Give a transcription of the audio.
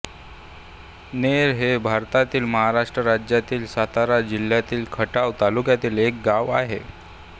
नेर हे भारतातील महाराष्ट्र राज्यातील सातारा जिल्ह्यातील खटाव तालुक्यातील एक गाव आहे